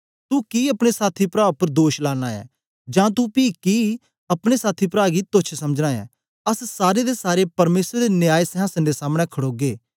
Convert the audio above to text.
तू कि अपने साथी प्रा उपर दोष लाना ऐं जां तू पी कि अपने साथी प्रा गी तोच्छ समझना ऐं अस सारे दे सारे परमेसर दे न्याय सिंहासन दे समने खडोगे